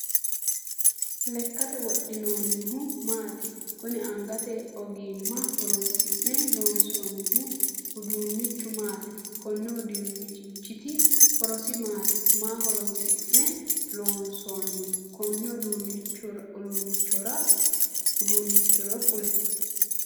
Lekate wodhinoonnihu maati? Kunni angate ogimma horoonsi'ne loonsoonnihu uduunnichu maati? Konni uduunichiti horosi maati? Maa horoonsi'ne loonsoonni konne uduunichoro kuli?